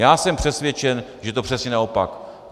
Já jsem přesvědčen, že to je přesně naopak.